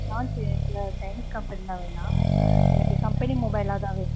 chinese company லாம் வேணாம் எனக்கு company mobile தான் வேணும்.